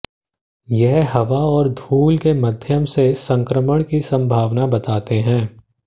यह हवा और धूल के माध्यम से संक्रमण की संभावना बताते हैं